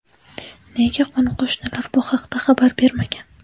Nega qo‘ni-qo‘shnilar bu haqda xabar bermagan?